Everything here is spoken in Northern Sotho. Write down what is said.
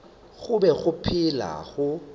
go be go phela go